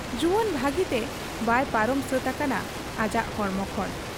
ᱡᱩᱣᱟᱹᱱ ᱵᱷᱟᱹᱜᱤᱛᱮ ᱵᱟᱭ ᱯᱟᱨᱚᱢ ᱥᱟᱹᱛ ᱟᱠᱟᱱᱟ ᱟᱡᱟᱜ ᱦᱚᱲᱢᱚ ᱠᱷᱚᱱ ᱾